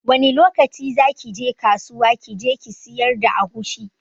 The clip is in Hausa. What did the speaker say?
Wani lokaci zaki je kasuwa kije kisiyar da agushi